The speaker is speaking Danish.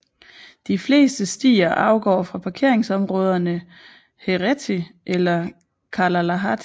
De fleste stier afgår fra parkeringsområderne Heretty eller Kalalahti